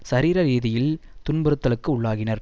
சரீர ரீதியில் துன்புறுத்தலுக்கு உள்ளாகினர்